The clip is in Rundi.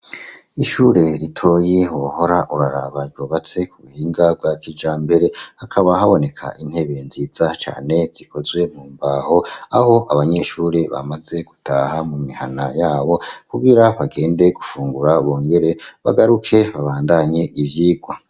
Ishure ritoyi hohora urarabajobatse ku buhinga bwa kija mbere hakaba haboneka intebe nziza cane zikozwe mu mbaho aho abanyeshure bamaze gutaha mu mihana yabo kugira bagende gufungura bongere bagaruke babandanye ivyigwa.